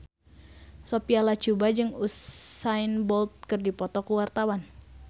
Sophia Latjuba jeung Usain Bolt keur dipoto ku wartawan